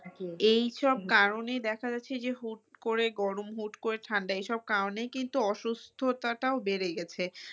এই সব কারণে দেখা যাচ্ছে যে হুট করে গরম হুট করে ঠান্ডা এসব কারনে কিন্তু অসুস্থতা টাও বেড়ে গেছে